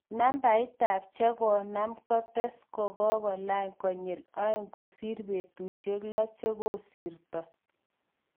Nabait tab chekonam, kates, kokalany konyil aeng kosir betushek lo chekosirto.